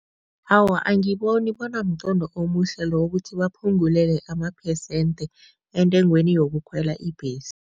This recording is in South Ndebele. Awa, angiboni bona mbono omuhle loyo ukuthi baphungulele amaphesente entengweni yokukhwela ibhesi.